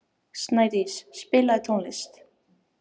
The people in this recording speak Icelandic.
Snædís, spilaðu tónlist.